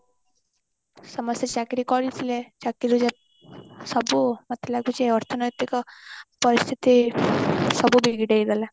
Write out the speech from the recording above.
ସମସ୍ତେ ଚାକିରି କରିଥିଲେ ଚାକିରି ସବୁ ମତେ ଲାଗୁଛି ଅର୍ଥନୈତିକ ପରିସ୍ଥିତି ସବୁ ବିଗିଡେଇ ଦେଲା